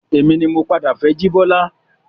Èmi ni mo padà fẹ́ jibola